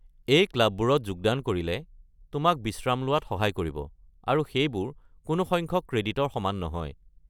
এই ক্লাববোৰত যোগদান কৰিলে তোমাক বিশ্ৰাম লোৱাত সহায় কৰিব, আৰু সেইবোৰ কোনো সংখ্যক ক্ৰেডিটৰ সমান নহয়।